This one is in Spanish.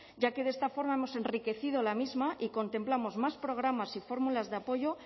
ya que de esta forma hemos enriquecido la misma y contemplamos más programas y fórmulas de apoyo